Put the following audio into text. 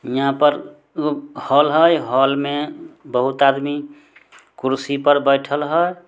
यहाँ पर हॉल हई हॉल में बहुत आदमी कुर्सी पर बैठल हई।